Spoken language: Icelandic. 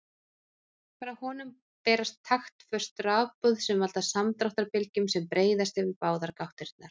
Frá honum berast taktföst rafboð sem valda samdráttarbylgjum sem breiðast yfir báðar gáttirnar.